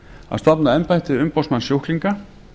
að stofna embætti umboðsmanns sjúklinga